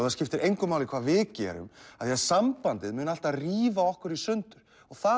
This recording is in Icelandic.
það skiptir engu máli hvað við gerum af því sambandið mun alltaf rífa okkur í sundur og það